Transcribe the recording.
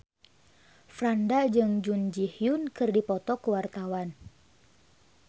Franda jeung Jun Ji Hyun keur dipoto ku wartawan